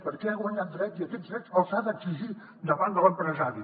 perquè han guanyat drets i aquests drets els han d’exigir davant de l’empresari